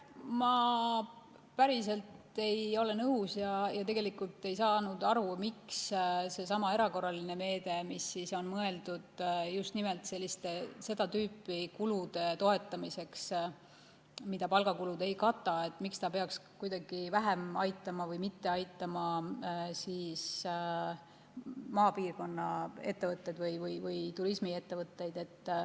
Ma ei ole päris nõus ja tegelikult ei saanud aru, miks seesama erakorraline meede, mis on mõeldud just nimelt seda tüüpi kulude katmiseks, mida palga ei kata, peaks kuidagi vähem aitama või mitte aitama maapiirkonna ettevõtteid või turismiettevõtteid.